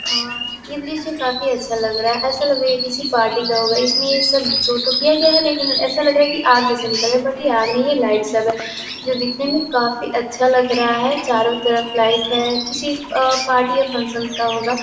अ यह द्रिश काफ़ी अच्छा लग रहा है। ऐसा लग रहा है किसी पार्टी का होगा इसमें ये सब जो तो किया गया है। लेकिन ऐसा लग रहा है आग जैसा निकल रहा है बट यह आग नहीं है। यह लाइट सब है जो दिखने में काफ़ी अच्छा लग रहा है चारों तरफ लाइट है किसी अ पार्टी या फंक्शन का होगा।